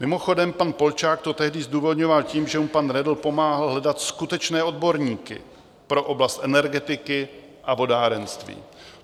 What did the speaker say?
Mimochodem pan Polčák to tehdy zdůvodňoval tím, že mu pan Redl pomáhal hledat skutečné odborníky pro oblast energetiky a vodárenství.